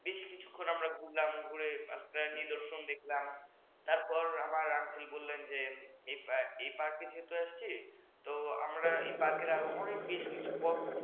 বেশ কিছুক্ষণ আমরা ঘুরলাম ঘুরে নিদর্শন দেখলাম তারপর আবার আমার uncle বললেন যে এই park যেহেতু আসছি ত আমরা এই park র আরো বেশ কিছু পথ